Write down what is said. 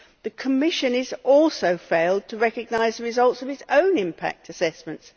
The Commission has also failed to recognise the results of its own impact assessments.